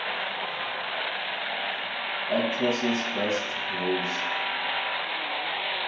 actresses best roles